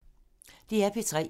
DR P3